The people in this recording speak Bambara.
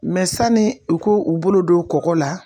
sani u ko u bolo don kɔkɔ la